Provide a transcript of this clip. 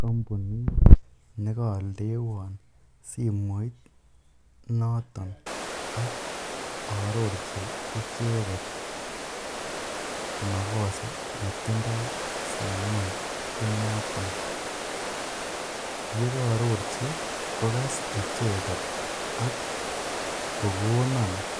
Kombunit nekoldewon simoit noton ak arorchi icheket makosanetindo simoit inoton, yekoororchi kokas icheket ak kokonon icheket